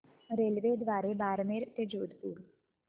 रेल्वेद्वारे बारमेर ते जोधपुर